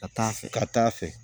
Ka taa fɛ ka taa fɛ